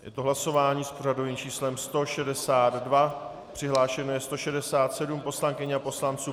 Je to hlasování s pořadovým číslem 162, přihlášeno je 167 poslankyň a poslanců.